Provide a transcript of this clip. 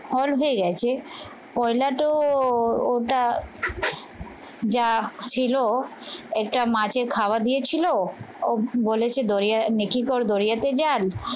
হল হয়ে গেছে পইলা তো ওটা যা ছিল একটা মাছের খাবার দিয়েছিল ও বলেছে দরিয়া নিখিল দরিয়াতে যান